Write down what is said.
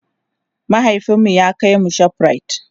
mahaifinmu ya kaimu shoprite